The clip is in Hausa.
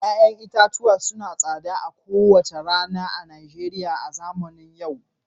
Ya'yan itatuwa suna yin tsada kowace rana a Najeriya a zamanin yau